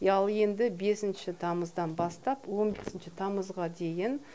ал енді бесінші тамыздан бастап он бесінші тамызға дейін